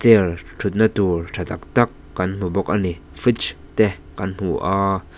ell thut na tur tha tak tak kan hmu bawk a ni fridge te kan hmu a--